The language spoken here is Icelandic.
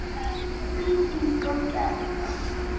Þín Inga Gerða.